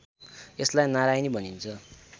यसलाई नारायणी भनिन्छ